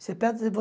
Você perde